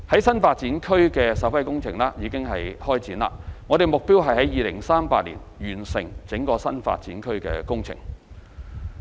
新發展區的首批工程已經展開，目標是在2038年完成整個新發展區工程。